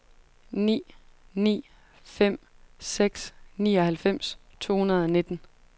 ni ni fem seks nioghalvfems to hundrede og nitten